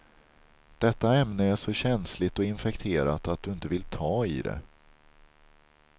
Detta ämne är så känsligt och infekterat att du inte vill ta i det.